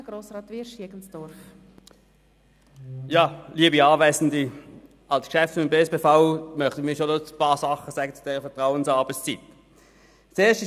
Als Geschäftsführer des Bernischen Staatspersonalverbandes (BSPV) möchte ich gerne einige Bemerkungen zur Vertrauensarbeitszeit anbringen.